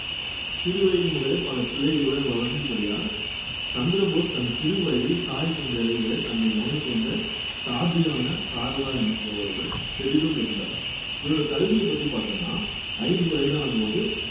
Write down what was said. சிறு வயது முதலே பல பிள்ளைகளுடன் வளர்ந்தபடியால் சந்திரபோஸ் தன் சிறு வயதில் தாய் தந்தையரை விட தன்னை கவனித்து வந்த தாதியான சாரதா என்பவருடன் பெரிதும் இருந்தார் இவருடைய கல்வியைப் பத்தி பார்த்தோம்ன்னா ஐந்து வயதான போது